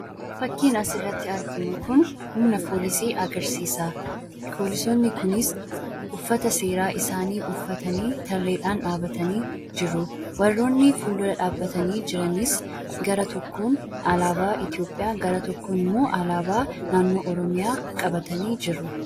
Fakkiin asirratti arginu kun humna foolisii agarsiisa. Foolisoonni kunis uffata seeraa isaanii uffatanii tarreedhaan dhaabatanii jiru. Warroonni fuuldura dhaabbatanii jiranis gara tokkoon alaabaa Itoophiyaa gara tokkoon immoo alaabaa naannoo Oromiyaa qabatanii jiru.